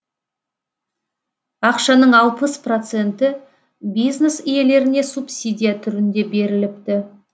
ақшаның алпыс проценті бизнес иелеріне субсидия түрінде беріліпті